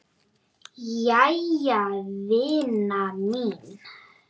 Jæja vina mín.